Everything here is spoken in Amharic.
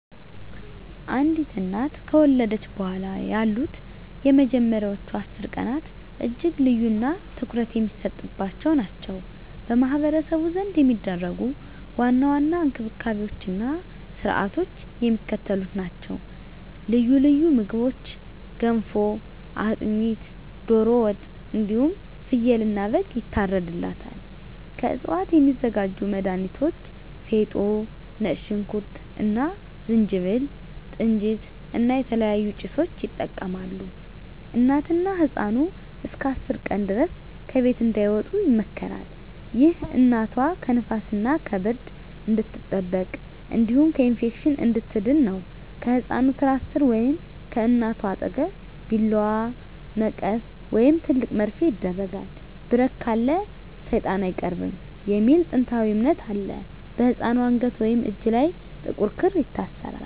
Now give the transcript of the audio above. አንዲት እናት ከወለደች በኋላ ያሉት የመጀመሪያዎቹ 10 ቀናት እጅግ ልዩና ትኩረት የሚሰጥባቸው ናቸው። በማኅበረሰቡ ዘንድ የሚደረጉ ዋና ዋና እንክብካቤዎችና ሥርዓቶች የሚከተሉት ናቸው፦ ልዩ ልዩ ምግቦች ገንፎ፣ አጥሚት፣ ዶሮ ወጥ እንዲሁም ፍየልና በግ ይታርድላታል። ከእፅዋት የሚዘጋጁ መድሀኒቶች ፌጦ፣ ነጭ ሽንኩርት እና ዝንጅብል፣ ጥንጅት እና የተለያዩ ጭሶችን ይጠቀማሉ። እናትና ህፃኑ እስከ 10 ቀን ድረስ ከቤት እንዳይወጡ ይመከራል። ይህ እናቷ ከንፋስና ከብርድ እንድትጠበቅ እንዲሁም ከኢንፌክሽን እንድትድን ነው። ከህፃኑ ትራስ ሥር ወይም ከእናቷ አጠገብ ቢላዋ፣ መቀስ ወይም ትልቅ መርፌ ይደረጋል። "ብረት ካለ ሰይጣን አይቀርብም" የሚል ጥንታዊ እምነት አለ። በህፃኑ አንገት ወይም እጅ ላይ ጥቁር ክር ይታሰራል።